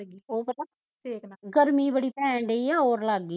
ਉਹ ਪਤਾ ਗਰਮੀ ਬੜੀ ਪੈਣ ਡਈ ਆ ਤੇ ਓਰ ਲੱਗ ਗਈ ਆ